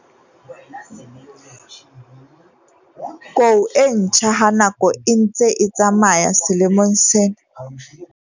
Kou e ntjha ha nako e ntse e tsamaya selemong sena.